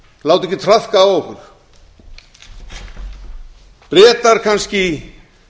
láta ekki traðka á okkur bretar kannski